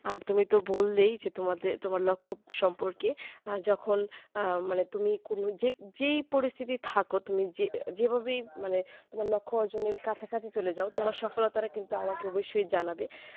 আর তুমি তো বললেই যে তোমাদের তোমার লক্ষ্য সম্পর্কে যখন আহ মানে তুমি কোনো যেই পরিস্তিতি থাকো তুমি যেভাবেই মানে তোমার লক্ষ্য অর্জনের কাছাকাছি চলে যাও তোমার সফলতা কিন্তু আমাকে অবশ্যই জানাবে